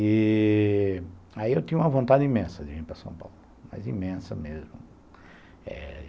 E... aí eu tinha uma vontade imensa de vir para São Paulo, mas imensa mesmo.